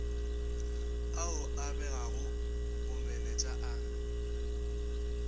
ao a begago bomenetša a